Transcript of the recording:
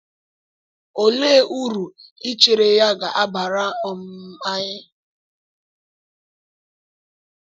Olee uru ichere ya ga-abara um anyị?